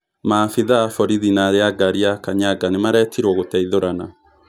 Maabitha a borithi na arĩ a a ngari ya kanyaga nĩ maretirwo gũteithũrana.